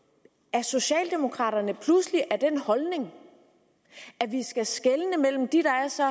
er socialdemokraterne pludselig af den holdning at vi skal skelne mellem de der er så